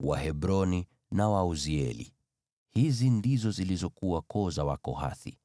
Wahebroni na Wauzieli; hizi ndizo zilizokuwa koo za Wakohathi.